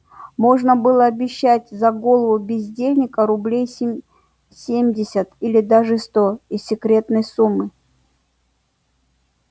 можно будет обещать за голову бездельника рублей семьдесят или даже сто из секретной суммы